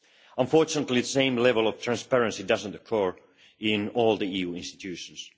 Unfortunately, the same level of transparency does not occur in all the EU institutions.